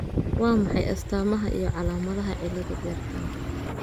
Waa maxay astamaha iyo calaamadaha cilada bertanka?